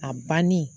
A banni